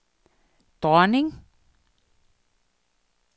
dronning